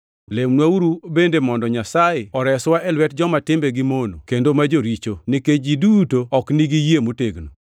Lemnwauru bende mondo Nyasaye oreswa e lwet joma timbegi mono kendo ma joricho, nikech ji duto ok nigi yie motegno.